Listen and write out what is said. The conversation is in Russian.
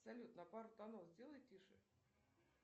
салют на пару тонов сделай тише